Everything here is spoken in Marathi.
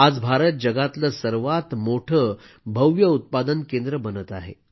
आज भारत जगातलं सर्वात मोठं भव्य उत्पादन केंद्र बनत आहे